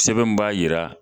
Sɛbɛn mun b'a yira